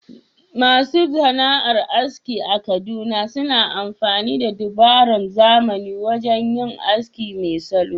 Masu sana’ar aski a Kaduna suna amfani da dabarun zamani wajen yin aski mai salo.